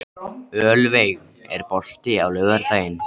Ölveig, er bolti á laugardaginn?